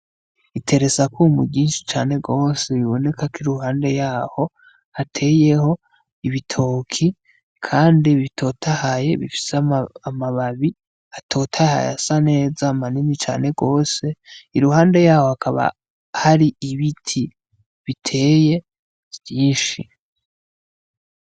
Iteresakwumu ryinshi cane gose, biboneka k'iruhande yaho hateyeho ibitoki, kandi bitotahaye bifise amababi atotahaye asa neza manini cane gose iruhande yaho hakaba hari ibiti biteye vyinshi.